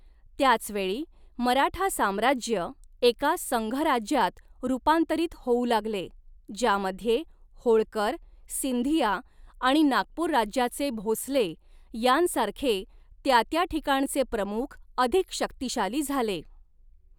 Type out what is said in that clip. त्याच वेळी, मराठा साम्राज्य एका संघराज्यात रूपांतरित होऊ लागले, ज्यामध्ये होळकर, सिंधिया आणि नागपूर राज्याचे भोंसले यांसारखे त्या त्या ठिकाणचे प्रमुख अधिक शक्तिशाली झाले.